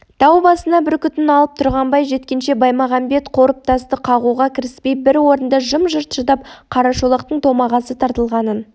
тау басына бүркітін алып тұрғанбай жеткенше баймағамбет қорым тасты қағуға кіріспей бір орында жым-жырт шыдап қарашолақтың томағасы тартылғанын